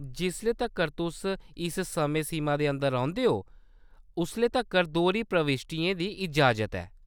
जिसलै तक्कर तुस इस समें-सीमा दे अंदर रौंह्‌‌‌दे ओ, उसलै तक्कर दोह्‌री प्रविश्टियें दी इजाज़त ऐ।